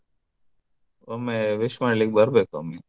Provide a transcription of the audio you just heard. ಒಮ್ಮೆ wish ಮಾಡ್ಲಿಕ್ಕೆ ಬರ್ಬೇಕು ಒಮ್ಮೆ.